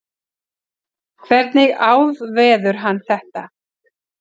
hvernig áðveður hann þetta